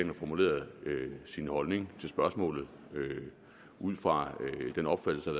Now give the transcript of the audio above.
har formuleret sin holdning til spørgsmålet ud fra den opfattelse